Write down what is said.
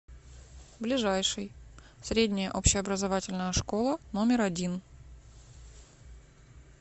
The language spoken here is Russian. ближайший средняя общеобразовательная школа номер один